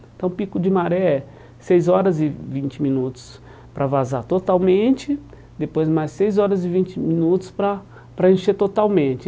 Então o pico de maré é seis horas e vinte minutos para vazar totalmente, depois mais seis horas e vinte minutos para para encher totalmente.